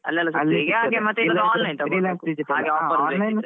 Online ಸಿಗ್ತದೆ.